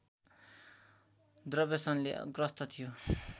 दुर्व्यसनले ग्रस्त थियो